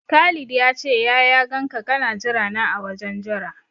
Khalid ya ce ya ya ganka kana jira na a wajen jira.